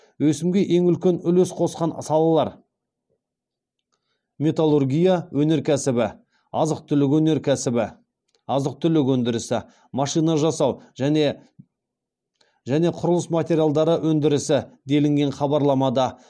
өсімге ең үлкен үлес қосқан салалар металлургия өнеркәсібі азық түлік өндірісі машина жасау және құрылыс материалдары өндірісі делінген хабарламада